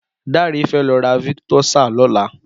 Dare fè lọ̀ rà viktósá lọ̀lá